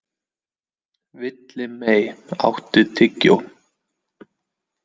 Villimey, áttu tyggjó?